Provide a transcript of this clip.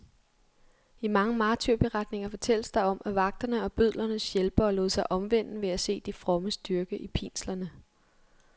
I mange martyrberetninger fortælles der om, at vagterne og bødlernes hjælpere lod sig omvende ved at se de frommes styrke i pinslerne.